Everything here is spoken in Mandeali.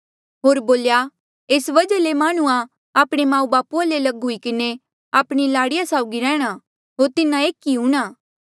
होर बोल्या एस वजहा ले माह्णुंआं आपणे माऊबापू ले लग हुई किन्हें आपणी लाड़ी साउगी रैंह्णां होर तिन्हा एक ही हूंणां